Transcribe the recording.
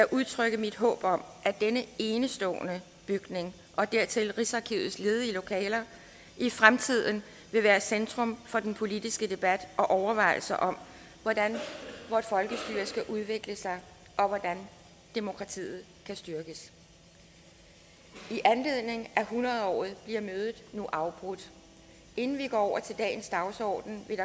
udtrykke mit håb om at denne enestående bygning og dertil rigsarkivets ledige lokaler i fremtiden vil være centrum for den politiske debat og overvejelser om hvordan vort folkestyre skal udvikle sig og hvordan demokratiet kan styrkes i anledning af hundrede året bliver mødet nu afbrudt inden vi går over til dagens dagsorden vil